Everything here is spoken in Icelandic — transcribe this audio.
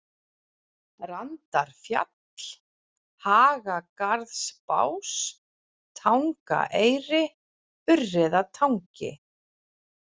Randarfjall, Hagagarðsbás, Tangaeyri, Urriðatangi